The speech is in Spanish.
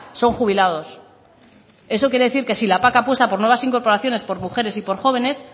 son jubilados eso quiere decir que si la pac apuesta por nuevas incorporaciones por mujeres y por jóvenes